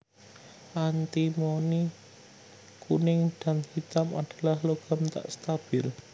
Antimoni kuning dan hitam adalah logam tak stabil